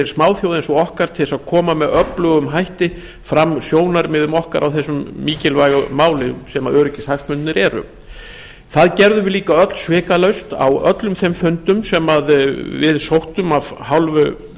eins og okkar til þess að koma með öflugum hætti fram sjónarmiðum okkar á þessu mikilvæga máli sem öryggishagsmunirnir eru það gerðum við líka öll svikalaust á öllum þeim fundum sem við sóttum af hálfu